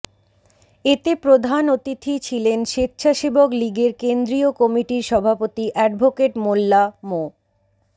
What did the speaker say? এতে প্রধান অতিথি ছিলেন সেচ্ছাসেবক লীগের কেন্দ্রীয় কমিটির সভাপতি অ্যাডভোকেট মোল্লা মো